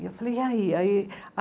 E eu falei, e aí?